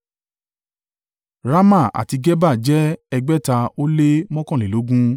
Rama àti Geba jẹ́ ẹgbẹ̀ta ó lé mọ́kànlélógún (621)